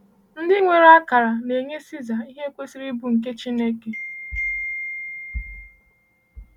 Ndị nwere akara na-enye Caesar ihe kwesịrị ịbụ nke Chineke.